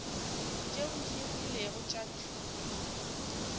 tšeo di rilego tša thuto